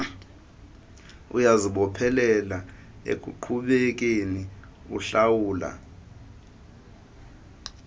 uyazibophelela ekuqhubekeni uhlawula